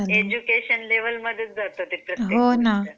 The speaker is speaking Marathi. एज्युकेशन लेवल मध्ये चा जाते प्रत्येक गोष्ट.